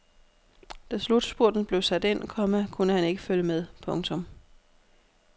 Da slutspurten blev sat ind, komma kunne han ikke følge med. punktum